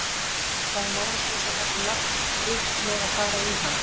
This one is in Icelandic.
Það er nánast eins og það sé lagt upp með að fara í hann.